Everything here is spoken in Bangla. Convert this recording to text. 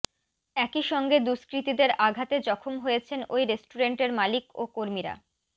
একই সঙ্গে দুষ্কৃতীদের আঘাতে জখম হয়েছেন ওই রেস্টুরেন্টের মালিক ও কর্মীরা